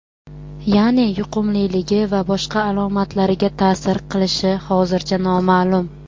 ya’ni yuqumliligi va boshqa alomatlariga ta’sir qilishi hozircha noma’lum.